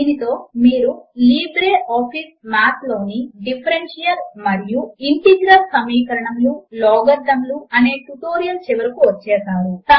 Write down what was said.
దీనితో మీరు LibreOffice Math లోని డిఫరెన్షియల్ మరియు ఇంటిగ్రల్ సమీకరణములు లాగరిథమ్ లు అనే ట్యుటోరియల్ చివరకు వచ్చేసారు